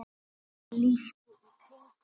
Lít í kringum mig.